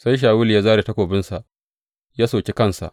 Sai Shawulu ya zāre takobinsa ya soki kansa.